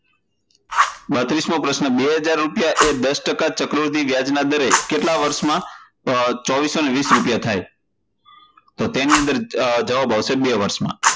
બત્રિશમો પ્રશ્ન, બે હજાર રૂપિયા એ દશ ટકા ચક્રવૃદ્ધિ વ્યાજના દરે કેટલા વર્ષમાં બે હજાર ચારસો વીશ રૂપિયા થાય? તો તેનો જવાબ આવશે બે વર્ષમાં